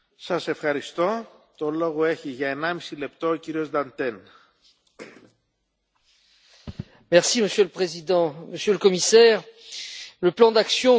Monsieur le Président, Monsieur le Commissaire, le plan d'action que vous nous proposez associe dans son titre le milieu naturel, la population et l'économie.